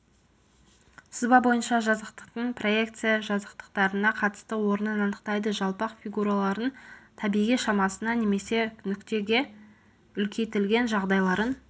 сызба бойынша жазықтықтың проекция жазықтықтарына қатысты орнын анықтайды жалпақ фигуралардың табиғи шамасына немесе нүктеге үлкейтілген жағдайларын